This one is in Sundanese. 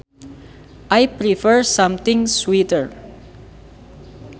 I prefer something sweeter